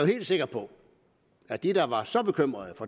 helt sikker på at de der var så bekymrede